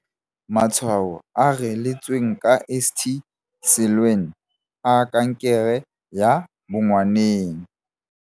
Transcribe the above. Matshwao a reeletsweng ka St Siluan a kankere ya bongwaneng.